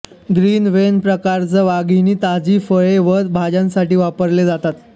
green van प्रकारच्या वाघिणी ताजी फळे व भाज्यांसाठी वापरल्या जातात